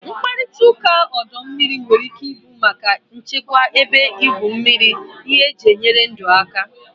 Mkparịta ụka ọdọ mmiri nwere ike ịbụ maka nchekwa ebe igwu mmiri, ihe eji enyere ndụ aka.